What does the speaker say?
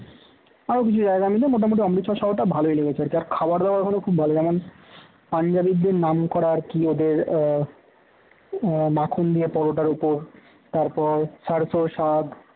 আরো কিছু জায়গা মিলে মোটামুটি অমৃতসর শহরটা ভালোই লেগেছে আর খাবার দাবার খুব ভালো যেমন পাঞ্জাবিদের নামকরা আর কি ওদের আহ মাখন দিয়ে পরোটার উপর তার পর স্বাদ